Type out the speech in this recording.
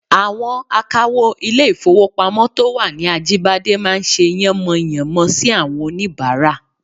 Àwọn akawó ilé-ìfowópamọ́ to wà ní Ajíbádé máa ń ṣe yánmọyànmọ sí àwọn oníbàárà